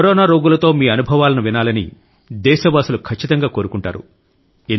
corona రోగులతో మీ అనుభవలను వినాలని దేశవాసులు ఖచ్చితంగా కోరుకుంటారు